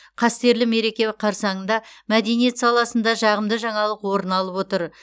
қастерлі мереке қарсаңында мәдениет саласында жағымды жаңалық орын алып отыр